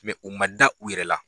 u ma da u yɛrɛ la.